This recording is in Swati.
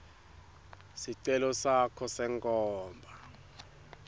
sicelo sakho senkhomba